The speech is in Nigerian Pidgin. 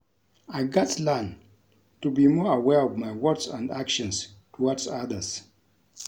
I gats learn to be more aware of my words and actions towards others.